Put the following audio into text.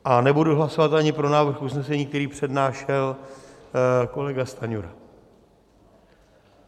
A nebudu hlasovat ani pro návrh usnesení, které přednášel kolega Stanjura.